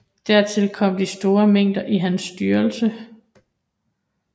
Dertil kom de store mangler i hans styrelse